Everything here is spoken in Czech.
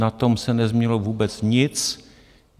Na tom se nezměnilo vůbec nic.